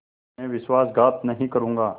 मैं विश्वासघात नहीं करूँगा